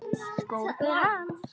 Skórnir hans.